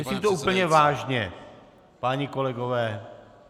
Myslím to úplně vážně, páni kolegové.